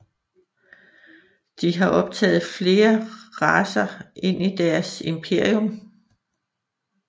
De har optaget flere racer ind i deres imperium